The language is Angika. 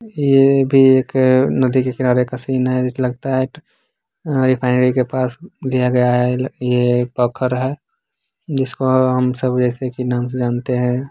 ये भी एक नदी के किनारे का सीन हैं। जैसे लगता है रेफाईनेरी के पास लिया गया हैं। ये एक पोखर है जिसको हम सब रेसे के नाम से जानते हैं।